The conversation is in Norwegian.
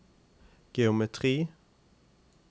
geometri